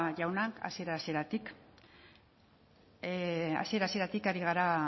jauna hasiera hasieratik ari gara